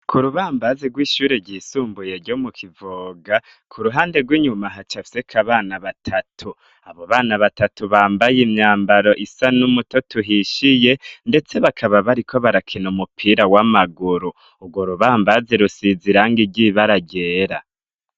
K'urubambazi rw'ishuri ryisumbuye ryo mu Kivoga, k'uruhande rw'inyuma hacafyeko abana batatu, abo bana batatu bambaye imyambaro isa n'umutoto uhishiye, ndetse bakaba bariko barakina umupira w'amaguru, urwo rubambazi rusize irangi ry'ibara ryera.